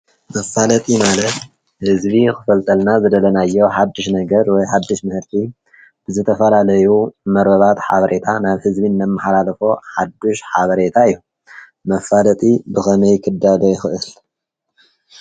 መፋለጢ ማለት ህዝቢ ክፈልጠልና ዝደለናዮ ሓዱሽ ነገር ወይ ሓዱሽ ምህርቲ ብዝተፈላለዩ መርበባት ሓበሬታ ናብ ህዝቢ እነመሓላልፎ ሓዱሽ ሓበሬታ እዩ። መፋለጢ ብከመይ ክዳሎ ይኽእል?